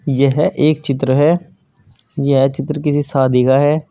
यह एक चित्र है यह चित्र किसी शादी का है।